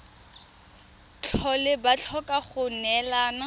tlhole ba tlhoka go neelana